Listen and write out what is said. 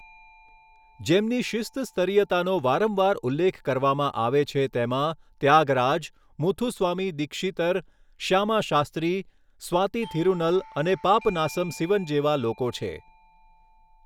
જેમની શિસ્ત સ્તરીયતાનો વારંવાર ઉલ્લેખ કરવામાં આવે છે તેમાં ત્યાગરાજ, મુથુસ્વામી દીક્ષિતર, શ્યામા શાસ્ત્રી, સ્વાતિ થિરુનલ અને પાપનાસમ સિવન જેવા લોકો છે